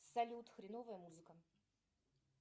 салют хреновая музыка